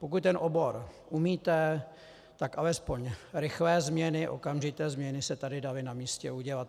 Pokud ten obor umíte, tak alespoň rychlé změny, okamžité změny se tady daly na místě udělat.